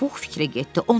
Pux fikrə getdi.